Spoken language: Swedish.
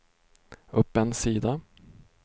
upp en sida